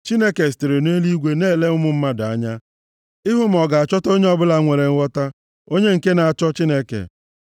Chineke sitere nʼeluigwe na-ele ụmụ mmadụ anya, ịhụ ma ọ ga-achọta onye ọbụla nwere nghọta, onye nke na-achọ Chineke.